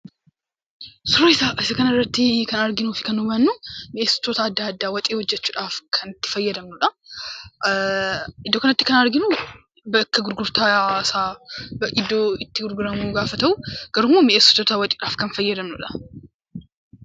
Suurri isa kanarratti arginuu fi kan hubannu, miny'eessitoota adda addaa, ittoo hojjechuudhaaf kan itti fayyadamnudha. Iddoo kanatti kan arginu bakka gurgurtaa isa, iddoo itti gurguramu gaafa ta'u, garuu immoo miny'eessitoota ittoodhaaf kan fayyadamnudha.